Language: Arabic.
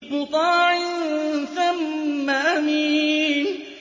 مُّطَاعٍ ثَمَّ أَمِينٍ